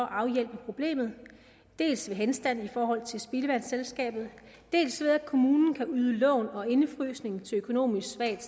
afhjælpe problemet dels ved henstand i forhold til spildevandsselskabet dels ved at kommunen kan yde lån og indefryse lån til økonomisk svagt